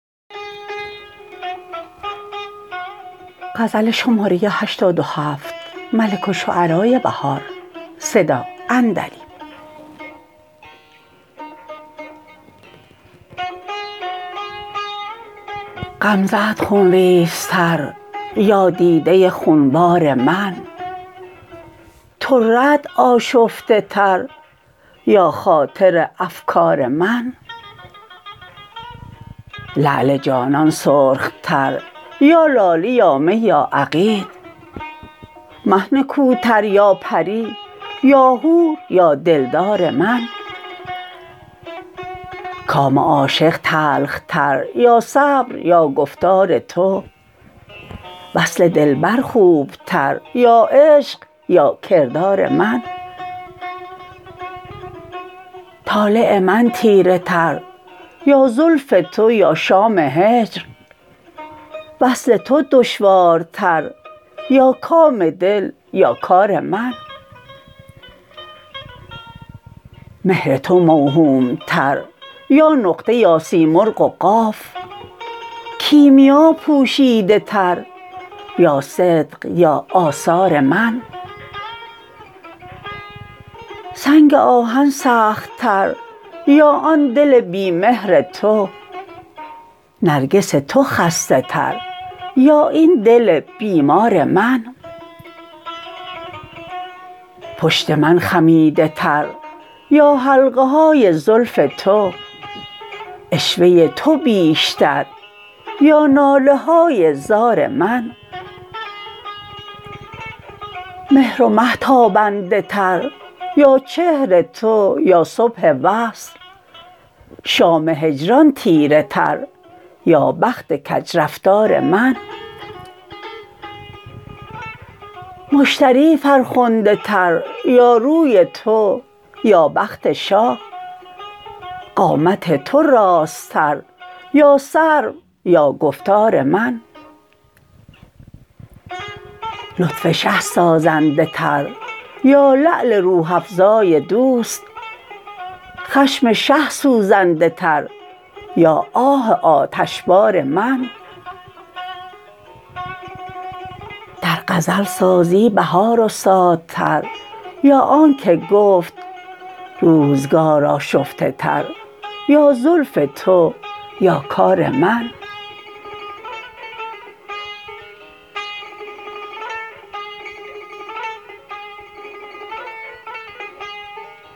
غمزه ات خونریزتر یا دیده خونبار من طره ات آشفته تر یا خاطر افکار من لعل جانان سرخ تر یا لاله یا می یا عقیق مه نکوتر یا پری یا حور یا دلدار من کام عاشق تلخ تر یا صبر یا گفتار تو وصل دلبر خوبتر یا عشق یا کردار من طالع من تیره تر یا زلف تو یا شام هجر وصل تو دشوارتر یا کام دل یا کار من مهر تو موهوم تر یا نقطه یا سیمرغ و قاف کیمیا پوشیده تر یا صدق یا آثار من سنگ آهن سخت تر یا آن دل بی مهر تو نرگس تو خسته تر یا این دل بیمار من پشت من خمیده تر یا حلقه های زلف تو عشوه تو بیشتر یا ناله های زار من مهر و مه تابنده تر یا چهر تو یا صبح وصل شام هجران تیره تر یا بخت کجرفتار من مشتری فرخنده تر یا روی تو یا بخت شاه قامت تو راست تر یا سرو یا گفتار من لطف شه سازنده تر یا لعل روح افزای دوست خشم شه سوزنده تر یا آه آتشبار من در غزل سازی بهار استادتر یا آن که گفت روزگار آشفته تر یا زلف تو یا کار من